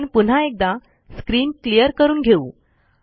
आपण पुन्हा एकदा स्क्रीन क्लियर करून घेऊ